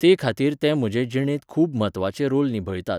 तेखातीर ते म्हजे जिणेंत खूब म्हत्वाचे रोल निभयतात.